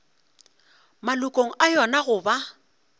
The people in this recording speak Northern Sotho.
malokong a yona go ba